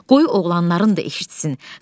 Qoy oğlanların da eşitsin.